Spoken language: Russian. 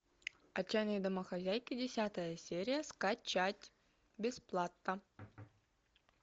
отчаянные домохозяйки десятая серия скачать бесплатно